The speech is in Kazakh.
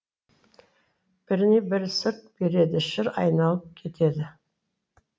біріне бірі сырт береді шыр айналып кетеді